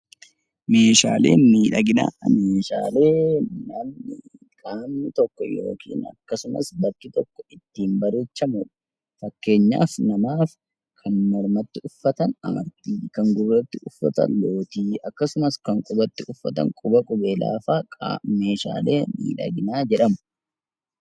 Meeshaaleen miidhaginaa meeshaalee qaamni tokko ittiin bareechamudha. Fakkeenyaaf namaaf kan harkaa, kan mormaa, kan qubaa fa'aa meeshaalee miidhaginaa jedhamu